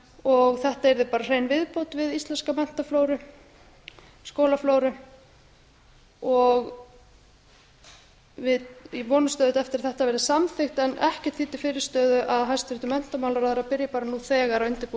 og þetta yrði bara hrein viðbót við íslenska menntaflóru skólaflóru við vonumst auðvitað eftir að þetta verði samþykkt en ekkert er því fyrirstöðu að hæstvirtur menntamálaráðherra byrji bara nú þegar að undirbúa